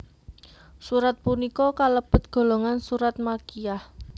Surat punika kalebet golongan surat Makkiyah